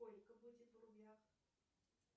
сколько будет в рублях